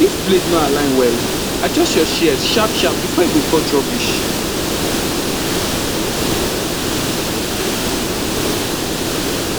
if blade no align well adjust your shears sharpsharp before e go cut rubbish